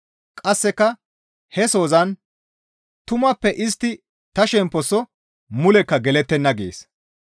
Qasseka he sozan, «Tumappe istti ta shemposo mulekka gelettenna» gees.